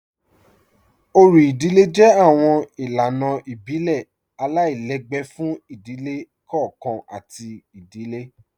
Ọ̀rì ìdílẹ̀ jẹ́ awọn ilànà ìbílẹ̀ aláìlẹ̀gbẹ̀ fún ìdílẹ̀ kọọ̀kan àti ìdílẹ̀